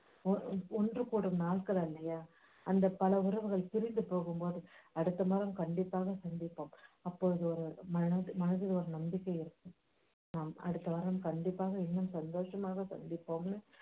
ஒ~ ஒன்று கூடும் நாட்கள் இல்லையா ஆந்த பல உறவுகள் திரும்பிப் போகும்போது அடுத்த மாதம் கண்டிப்பாக சந்திப்போம் அப்போது மனதி~ மனதில் ஒரு நம்பிக்கை ஏற்படும் அடுத்த வாரம் இன்னும் சந்தோஷமாக சந்திப்போம்னு